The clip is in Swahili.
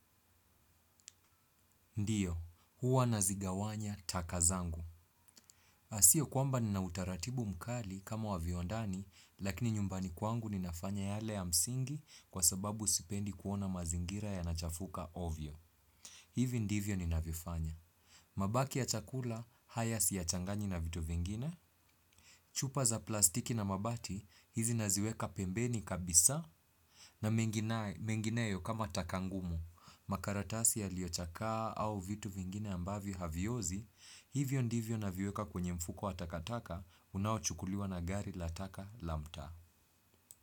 Ndio, huwa nazigawanya taka zangu. Sio kwamba nina utaratibu mkali kama wa viwandani, lakini nyumbani kwangu ninafanya yale ya msingi kwa sababu sipendi kuona mazingira yanachafuka ovyo. Hivi ndivyo ninavyofanya. Mabaki ya chakula, haya siyachangani na vitu vingine. Chupa za plastiki na mabati, hizi naziweka pembeni kabisa. Na mengineyo kama taka ngumu, makaratasi yaliochakaa au vitu vingine ambavyo haviozi, hivyo ndivyo naviweka kwenye mfuko wa takataka unaochukuliwa na gari la taka la mtaa.